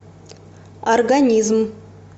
организм